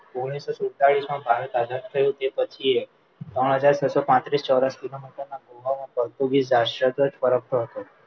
ઓગણીસો સુડતાલીસ ભારત આઝાદ થયું તે પછીતે ત્રણ હાજર છસ્સો પાંત્રીસ ચોરસ કિલોમીટર ખોબામાં પોર્ટુગીઝ રાષ્ટ્ર જ ફરકતો હતો